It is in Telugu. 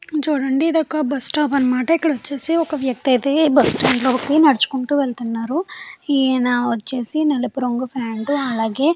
చుడండి ఇది ఒక బస్సు స్టాప్ అనమాట. ఇక్కడ ఒక వ్యక్తి అయితే బస్సు స్టాండ్ లోకి నడుచుకుంటూ వేల్లుతునాడు. ఈయన వచ్చేసి నలుపు రంగు పాయింట్ అలాగే --